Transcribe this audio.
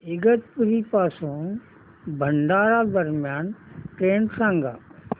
इगतपुरी पासून भंडारा दरम्यान ट्रेन सांगा